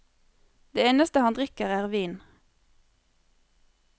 Det eneste han drikker er vin.